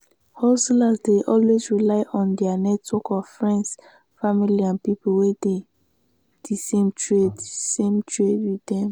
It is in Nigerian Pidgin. hustlers dey always rely on their network of friends family and people wey dey di same trade same trade with them